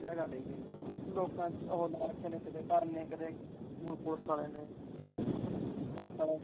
ਕਿਆ ਗੱਲ ਇਹੀ ਆ, ਲੋਕਾਂ ਨੇ ਕੀਤੇ ਡਰਕੇ ਨੇ ਕੀਤੇ ਧਰਨੇ, ਕੀਤੇ ਹੁਣ ਪੁਲਿਸ ਆਲਿਆ ਨੇ ਪੁਲਿਸ ਵਾਲਿਆ ਦੀ ਆ ਗੱਲ ਇਹੀ ਆ।